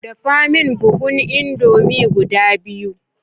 Dafa min buhun indomie guda biyu